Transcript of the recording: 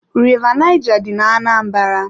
River Naija dị ná-Anambra.